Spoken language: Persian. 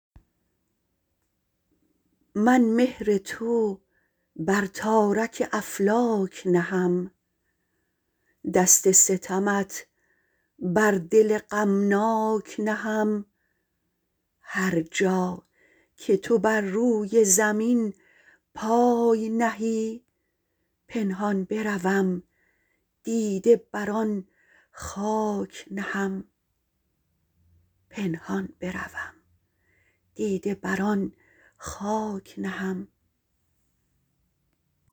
من مهر تو بر تارک افلاک نهم دست ستمت بر دل غمناک نهم هر جا که تو بر روی زمین پای نهی پنهان بروم دیده بر آن خاک نهم